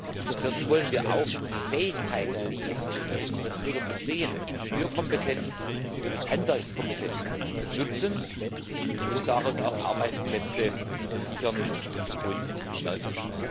Und zum vierten wollen wir auch die Fähigkeiten, die bei unseren Bürgern bestehen Ingenieurkompetenz und Handwerkskompetenz nutzen und damit auch Arbeitsplätze sichern und stärken.